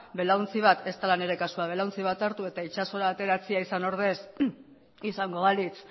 belaontzi bat ez dela nire kasua hartu eta itsasora ateratzea izan ordez izango balitz